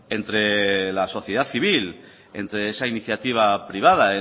entre la sociedad civil entre esa iniciativa privada